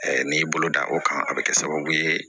n'i y'i bolo da o kan a bɛ kɛ sababu ye